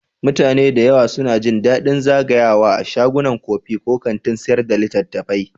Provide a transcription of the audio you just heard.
Mutane da yawa suna jin daɗin zagayawa a shagunan kofi ko kantin sayar da littattafai.